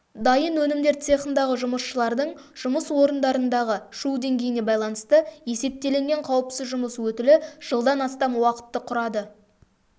дайын өнімдер цехындағы жұмысшылардың жұмыс орындарындағы шу деңгейіне байланысты есептелінген қауіпсіз жұмыс өтілі жылдан астам уақытты құрады